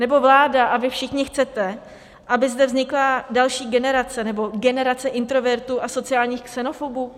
Nebo vláda a vy všichni chcete, aby zde vznikla další generace nebo generace introvertů a sociálních xenofobů?